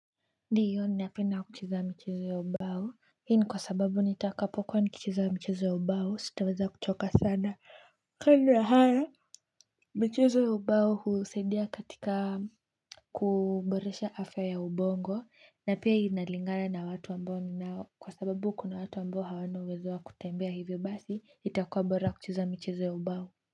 Ndio ninapenda kucheza michezo ya ubao. Hii ni kwa sababu nitakapokuwa nikicheza michezo ya ubao sitaweza kuchoka sana. Kando ya haya, michezo ya ubao husaidia katika kuboresha afya ya ubongo na pia inalingana watu ambao ninao, kwa sababu kuna watu ambao hawana uwezo wa kutembea hivyo basi, itakuwa bora kucheza michezo ya ubao.